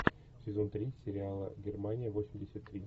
сезон три сериала германия восемьдесят три